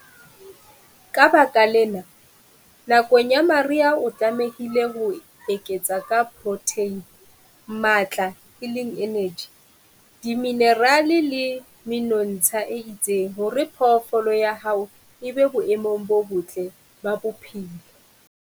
Ka baka lena, nakong ya mariha o tlamehile ho eketsa ka protheine, matla, energy, diminerale le menontsha e itseng hore phoofolo ya hao e be boemong bo botle ba bophelo.